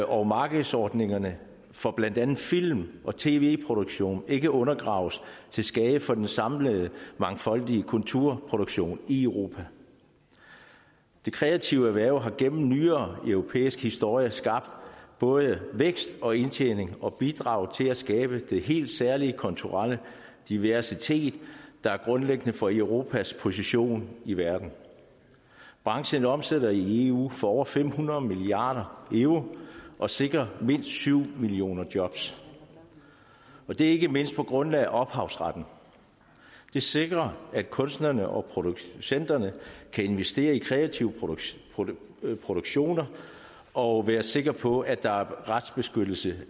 og markedsordningerne for blandt andet film og tv produktion ikke undergraves til skade for den samlede mangfoldige kulturproduktion i europa det kreative erhverv har gennem nyere europæisk historie skabt både vækst og indtjening og har bidraget til at skabe den helt særlige kulturelle diversitet der er grundlæggende for europas position i verden branchen omsætter i eu for over fem hundrede milliard euro og sikrer mindst syv millioner jobs det er ikke mindst på grundlag af ophavsretten den sikrer at kunstnerne og producenterne kan investere i kreative produktioner og være sikre på at der er retsbeskyttelse